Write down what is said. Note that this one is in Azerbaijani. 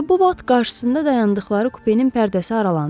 Elə bu vaxt qarşısında dayandıqları kupenin pərdəsi aralandı.